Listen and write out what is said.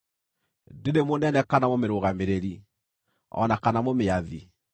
Ndĩrĩ mũnene, kana mũmĩrũgamĩrĩri, o na kana mũmĩathi,